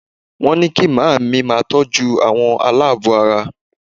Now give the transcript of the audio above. Wọ́n ní kí màmá mi máa tọ́jú àwọn aláàbọ̀ ara